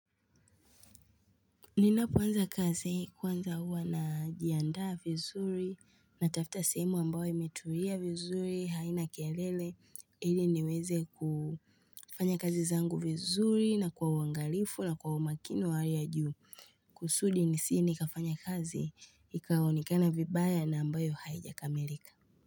Ninapoanza kazi kwanza huwa na jiandaa vizuri na tafta simu ambayo imetulia vizuri haina kelele ili niweze kufanya kazi zangu vizuri na kwa uangalifu na kwa umakini wa hali ya juu kusudi nisi ni kafanya kazi ikaonikana vibaya na ambayo haijakamilika.